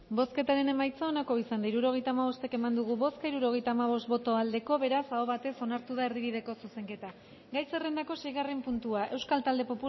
bozketaren emaitza onako izan da hirurogeita hamabost eman dugu bozka hirurogeita hamabost boto aldekoa beraz aho batez onartu da erdibideko zuzenketa gai zerrendako seigarren puntua euskal talde